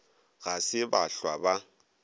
ga se ba hlwa ba